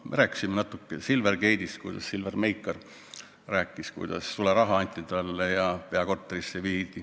Ma rääkisin natuke Silvergate'ist, sellest, kuidas Silver Meikar rääkis, et talle anti sularaha ja see viidi peakorterisse.